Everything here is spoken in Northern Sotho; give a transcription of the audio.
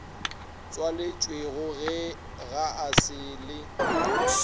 tšwaletšwego ga e sa le